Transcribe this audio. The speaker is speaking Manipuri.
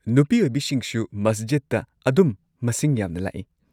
ꯅꯨꯄꯤ ꯑꯣꯏꯕꯤꯁꯤꯡꯁꯨ ꯃꯁꯖꯤꯗꯇ ꯑꯗꯨꯝ ꯃꯁꯤꯡ ꯌꯥꯝꯅ ꯂꯥꯛꯏ꯫